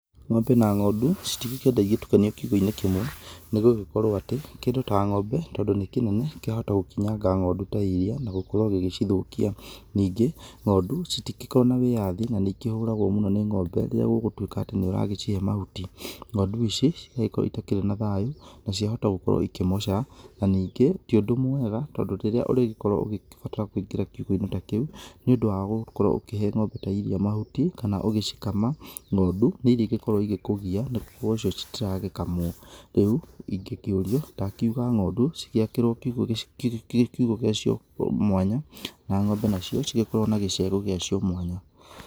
Ng'ombe na ng'ondũ citigĩkĩenda igĩtukanio kiugo-inĩ kĩmwe nĩgũgĩkorwo atĩ kĩndũ ta ng'ombe tondũ nĩ kĩnene kĩahota gũkinyanga ng'ondũ ta iria, na gukorwo gĩgĩcithũkia. Ningĩ ng'ondũ citingĩkorwo na wĩyathi na nĩ ikĩhoragwo mũno nĩ ng'ombe rĩrĩa ũgũtuĩka nĩ ũragĩcihe mahuti, ng'ondũ ici cigakorwo itakĩrĩ na thayũ naciahota gũkorwo ikĩmoca, na ningĩ ti ũndũ mwega tondũ rĩrĩa ũrĩgĩkorwo ũgĩbatara kũingĩra kiugo-inĩ kĩu nĩ ũndũ wa gũkorwo ukĩhe ng'ombe ta iria mahuti kana ũgĩcikama, ng'ondũ nĩĩrigĩkorwo igĩkũgiya nĩgũkorwo cio citiragĩkamwo. Rĩu ingĩkĩũrio ndakiuga ng'ondũ cigĩakĩrwo kiugo gĩacio mwanya na ng'ombe nacio igĩkorwo na gĩciario gĩacio mwanya.